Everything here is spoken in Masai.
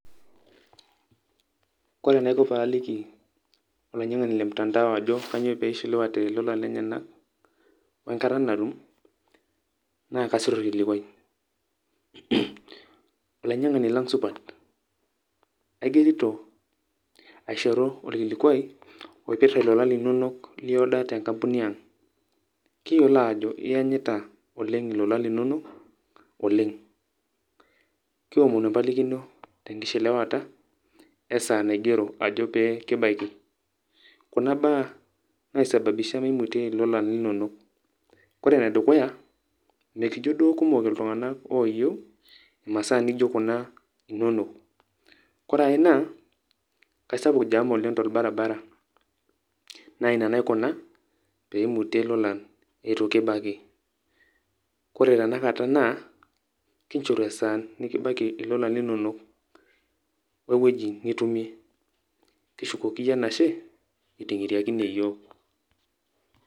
Kore enaiko paaliki olainyang'ani le mtandao ajo kanyo pee ishiliwate ilolan lenyenak we nkata natum naa kasir orkilikuai. ''olainyang'ani lang' supat aigerito aishoru orkilikuai oipirta lolan linonok li order te nkampuni ang', kiyolo ao iyanyita oleng' ilolan linonok oleng'. Kiomonu empalikino te nkishiliwata we saa naigero ajo pee kibaiki, kuna baa naisababisha mmimutie ilolan linonok; kore ene dukuya mekijo duo kumok iltung'anak oyiu imasaa naijo kuna inonok, kore ai naa kesapuk oleng' jam torbaribara naa ina naikuna pee imutie ilolan itu kibaik. Kore tenakata naa kinjoru esaa nekibaiki ilolan linonok we wueji nitumie, kishukoki iyie enashe iting'iriakine iyiok.